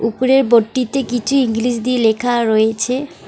উপরের বোটটিতে কিছু ইংলিশ দিয়ে লেখা রয়েছে।